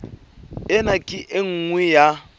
ena ke e nngwe ya